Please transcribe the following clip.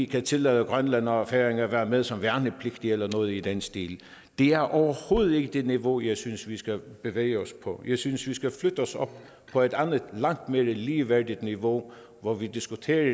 kan tillade grønland og færøerne at være med som værnepligtige eller noget i den stil det er overhovedet ikke det niveau jeg synes vi skal bevæge os på jeg synes vi skal flytte os op på et andet langt mere ligeværdigt niveau hvor vi diskuterer